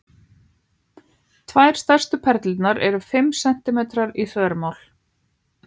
Tvær stærstu perlurnar eru fimm sentímetrar í þvermál.